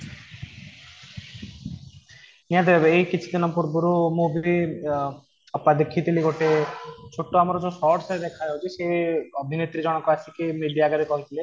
ନିହାତିଭାବେ ଏଇ କିଛି ଦିନ ପୂର୍ବରୁ ମୁଁ ବି ଅପା ଦେଖିଥିଲି ଗୋଟେ ଛୋଟ ଆମର ଯୋଉ shorts ରେ ଦେଖାଯାଉଛି ସେ ଅଭିନେତ୍ରୀ ଜଣଙ୍କ ଆସିକି media ଆଗରେ କହିଥିଲେ